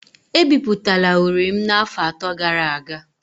E bipụtara uri m n’afọ atọ gara aga